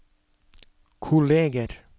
kolleger